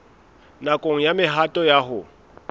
nakong ya mehato ya ho